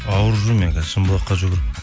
ауырып жүрмін мен қазір шымбұлаққа жүгіріп